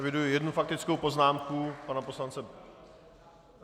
Eviduji jednu faktickou poznámku pana poslance...